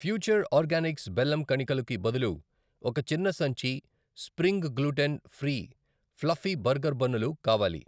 Future Organics బెల్లం కణికలు కి బదులు ఒక చిన్న సంచి spring gluten free fluffy burger బన్నులు కావాలి.